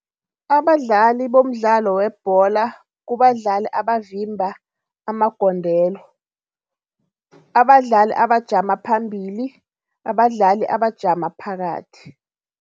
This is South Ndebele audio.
Abadlali bomdlalo webholo kubadlali abavimba amagondelo, ubadlali abajama phambili, abadlali abajama phakathi.